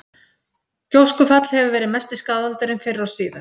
Gjóskufall hefur verið mesti skaðvaldurinn fyrr og síðar.